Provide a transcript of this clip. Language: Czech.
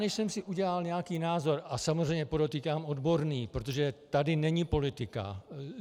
Než jsem si udělal nějaký názor - a samozřejmě podotýkám odborný, protože tady není politika.